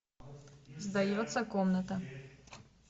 сдается комната